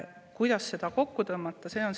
Kuidas seda kokku tõmmata?